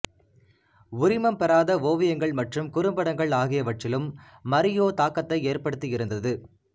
உரிமம் பெறாத ஓவியங்கள் மற்றும் குறும்படங்கள் ஆகியவற்றிலும் மரியோ தாக்கத்தை ஏற்படுத்தி இருந்தது